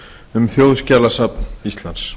um þjóðskjalasafn íslands